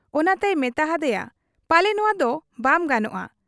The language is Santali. ᱚᱱᱟᱛᱮᱭ ᱢᱮᱛᱟ ᱦᱟᱫᱮᱭᱟ, 'ᱯᱟᱞᱮ ᱱᱚᱶᱟᱫᱚ ᱵᱟᱢ ᱜᱟᱱᱚᱜ ᱟ ᱾